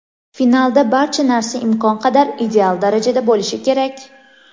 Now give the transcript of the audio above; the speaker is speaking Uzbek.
Finalda barcha narsa imkon qadar ideal darajada bo‘lishi kerak.